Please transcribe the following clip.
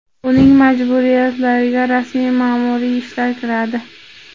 Uning majburiyatlariga rasmiy ma’muriy ishlar kiradi.